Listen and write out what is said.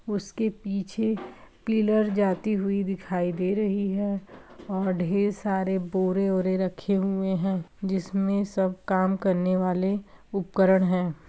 उसके पीछे पिलर जाती हुई दिखाई दे रही है और ढ़ेर सारे बोरे ओरे रखे हुए हैं जिसमें सब काम करने वाले उपकरण हैं।